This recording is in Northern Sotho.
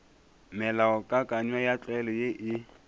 melaokakanywa ya tlwaelo ye e